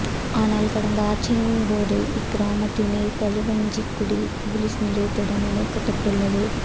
ஆனால்இ கடந்த ஆட்சியின் போது இக்கிராமத்தினை களுவாஞ்சிக்குடி பொலிஸ் நிலையத்துடன் இணைக்கப்பட்டுள்ளது